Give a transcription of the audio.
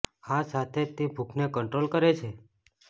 આ સાથે જ તે ભૂખને કંટ્રોલ કરે છે